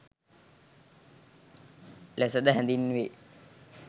ලෙස ද හැඳින්වේ.